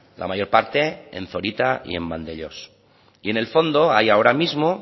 la mayor parte en zorita y en vandellós y en el fondo hay ahora mismo